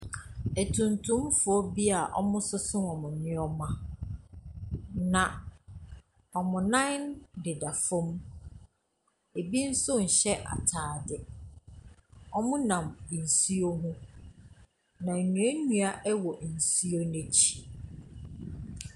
Atuntumfoɔ bi wɔsoso wɔn nneɛma, na wɔn nan deda fam, bi nso nhyɛ ataade. Wɔnam nsuo ho, na nnuannua wɔ nsuo no akyi.